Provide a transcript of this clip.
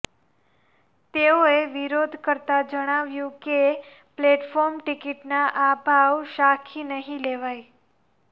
તેઓએ વિરોધ કરતા જણાવ્યું છે કે પ્લેટફોર્મ ટિકિટના આ ભાવ સાંખી નહિ લેવાય